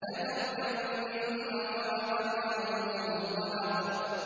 لَتَرْكَبُنَّ طَبَقًا عَن طَبَقٍ